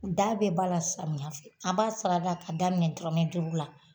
Da bɛɛ b'a la samiya fɛ , an b'a sara da k'a daminɛ dɔrɛmɛ duuru la